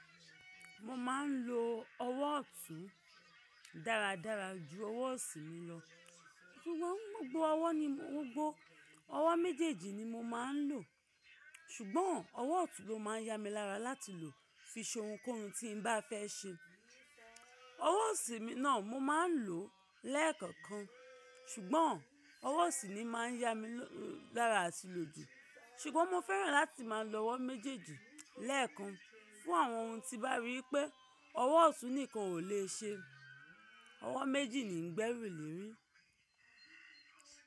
Mo máa ń lo ọwọ́ ọ̀tún dáradára ju ọwọ́ ọ̀sím lọ. Sugbon gbogbo ọwọ́ ni mo gbogbo, ọwọ́ méjèèjì ni mo máa ń lò. Ṣùgbọ́n ọwọ́ ọ̀tún ló máa ń yá mi lára láti lò fi ṣe ohunkóhun tí n bá fẹ́ ṣe. Ọwọ́ ọ̀sín náà mo máa ń lò lẹ́ẹ̀kọ̀kan. Ṣùgbọ́n ọwọ́ ọ̀sí mi máa ń yá mi lára àti lòjù. Ṣùgbọ́n mo fẹ́ràn láti máa lo ọwọ́ méjèèjì lẹ́ẹ̀kan fún àwọn ohun tí bá rí pé ọwọ́ ọ̀tún nìkan ò lè ṣe. Ọwọ́ méjì ni ìgbẹ́ rí lè rí.